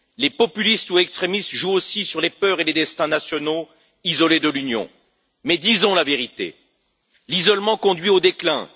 Les populistes ou extrémistes jouent aussi sur les peurs et les destins nationaux isolés de l'Union, mais disons la vérité l'isolement conduit au déclin.